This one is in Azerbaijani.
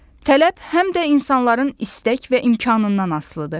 Tələb həm də insanların istək və imkanından asılıdır.